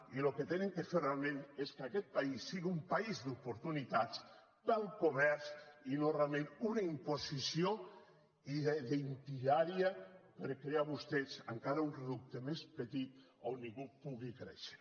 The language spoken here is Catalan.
i el que han de fer realment és que aquest país sigui un país d’oportunitats per al comerç i no realment una imposició diària per crear vostès encara un reducte més petit on ningú pugui créixer